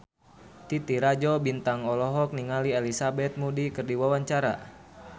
Titi Rajo Bintang olohok ningali Elizabeth Moody keur diwawancara